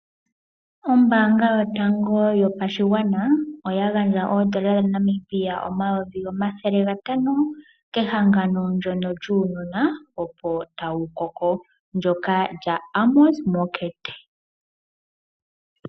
Ombaanga yotango yopashigwana oya gandja oondola dhaNamibia N$ 500,000 kehangano lyono lyuunona opo tawu koko lyoka lya Amos Meerkat.